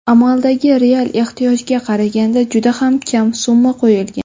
Amaldagi real ehtiyojga qaraganda juda ham kam summa qo‘yilgan.